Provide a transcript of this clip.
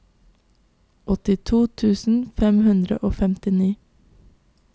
åttito tusen fem hundre og femtini